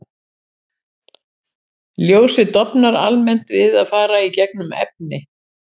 Ljósið dofnar almennt við að fara í gegnum efni.